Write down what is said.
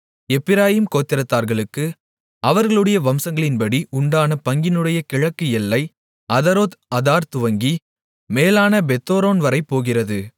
எப்பிராயீம் கோத்திரத்தார்களுக்கு அவர்களுடைய வம்சங்களின்படி உண்டான பங்கினுடைய கிழக்கு எல்லை அதரோத் அதார் துவங்கி மேலான பெத்தொரோன்வரை போகிறது